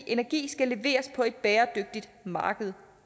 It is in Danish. energi skal leveres på et bæredygtigt marked